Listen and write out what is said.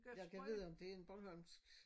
Ja gad vide om det en Bornholmsk